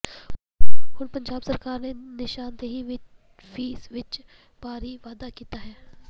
ਹੁਣ ਪੰਜਾਬ ਸਰਕਾਰ ਨੇ ਨਿਸ਼ਾਨਦੇਹੀ ਫੀਸ ਵਿੱਚ ਭਾਰੀ ਵਾਧਾ ਕੀਤਾ ਹੈ